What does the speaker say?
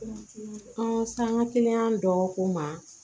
An sanga kiliyan dɔgɔ ko ma